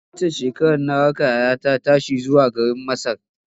Waccan shekarar na raka yayata ta tashi zuwa garin Masar.